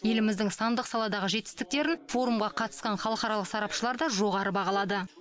еліміздің сандық саладағы жетістіктерін форумға қатысқан халықаралық сарапшылар да жоғары бағалады